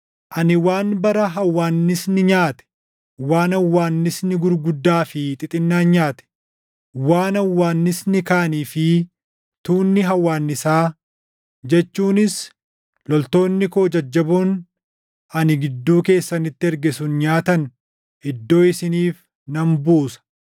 “Ani waan bara hawwaannisni nyaate, waan hawwaannisni gurguddaa fi xixinnaan nyaate, waan hawwaannisni kaanii fi tuunni hawwaannisaa jechuunis loltoonni koo jajjaboon ani gidduu keessanitti erge sun nyaatan // iddoo isiniif nan buusa.